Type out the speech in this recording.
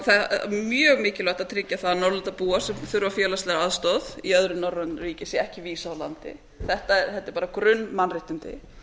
það er mjög mikilvægt að tryggja það að norðurlandabúar sem þurfa félagslega aðstoð í öðrum norrænum ríkjum sé ekki vísað úr landi þetta eru bara grunnmannréttindi